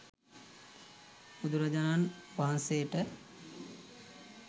බුදුරජාණන් වහන්සේට